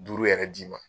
Duuru yɛrɛ d'i ma